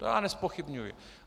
To já nezpochybňuji.